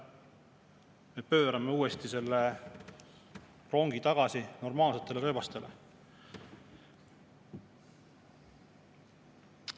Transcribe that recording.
Me pöörame selle rongi tagasi normaalsetele rööbastele.